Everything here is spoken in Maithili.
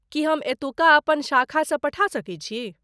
की हम एतुका अपन शाखासँ पठा सकैत छी?